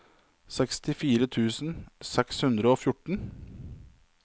sekstifire tusen seks hundre og fjorten